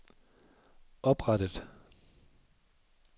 oprettet